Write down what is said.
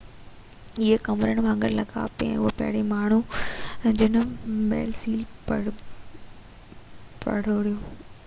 اهي ڪمرن وانگر لڳا پي هو پهريون ماڻهو هو جنهن مئل سيل پروڙيو